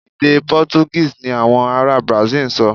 Èdè Pọ́túgíìsì ni àwọn ará Brasil ń sọ.